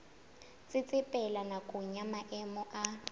tsetsepela nakong ya maemo a